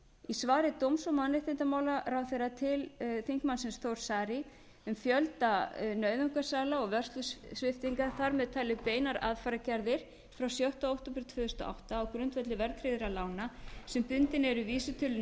í svari dómsmála og mannréttindaráðherra til þingmannsins þórs saari um fjölda nauðungarsala og vörslusviptinga þar með talin beinar aðfarargerðir frá sjötta október tvö þúsund og átta á grundvelli verðtryggðra lána sem bundin eru vísitölu